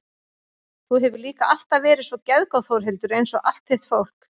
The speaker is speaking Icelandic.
Þú hefur líka alltaf verið svo geðgóð Þórhildur einsog allt þitt fólk.